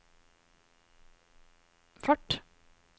fart